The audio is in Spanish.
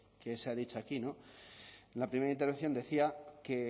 que se ha dicho aquí en la primera intervención decía que